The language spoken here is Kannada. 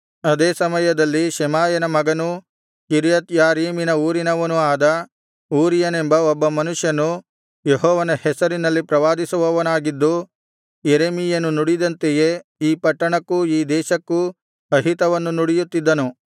ಅದೇ ಸಮಯದಲ್ಲಿ ಶಮಾಯನ ಮಗನೂ ಕಿರ್ಯತ್ ಯಾರೀಮ್ ಊರಿನವನೂ ಆದ ಊರೀಯನೆಂಬ ಒಬ್ಬ ಮನುಷ್ಯನು ಯೆಹೋವನ ಹೆಸರಿನಲ್ಲಿ ಪ್ರವಾದಿಸುವವನಾಗಿದ್ದು ಯೆರೆಮೀಯನು ನುಡಿದಂತೆಯೇ ಈ ಪಟ್ಟಣಕ್ಕೂ ಈ ದೇಶಕ್ಕೂ ಅಹಿತವನ್ನು ನುಡಿಯುತ್ತಿದ್ದನು